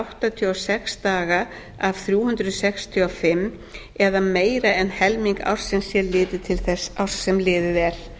áttatíu og sex daga af þrjú hundruð sextíu og fimm eða meira en helming ársins sé litið til þess árs sem liðið er